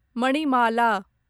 Manimala